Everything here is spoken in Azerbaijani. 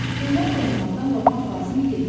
Peyvənd olunmaqdan qorxmaq lazım deyil.